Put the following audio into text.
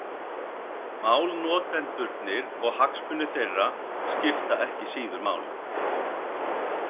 Málnotendurnir og hagsmunir þeirra skipta ekki síður máli.